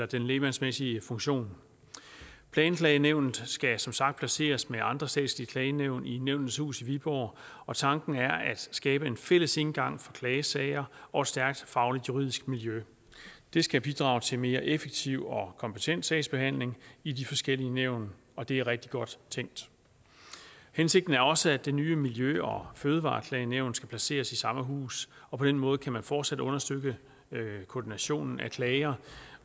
den lægmandsmæssige funktion planklagenævnet skal som sagt placeres med andre statslige klagenævn i nævnenes hus i viborg og tanken er at skabe en fælles indgang for klagesager og et stærkt fagligt juridisk miljø det skal bidrage til mere effektiv og kompetent sagsbehandling i de forskellige nævn og det er rigtig godt tænkt hensigten er også at det nye miljø og fødevareklagenævn skal placeres i samme hus og på den måde kan man fortsat understøtte koordinationen af klager